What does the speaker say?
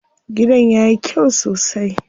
Gidan yayi kyau sosai.